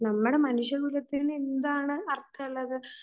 നമ്മുടെ മനുഷ്യകുലത്തിന് എന്താണ് അർഥമുള്ളത്?